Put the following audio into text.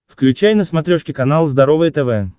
включай на смотрешке канал здоровое тв